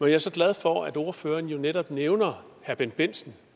jeg så glad for at ordføreren netop nævner herre bendt bendtsen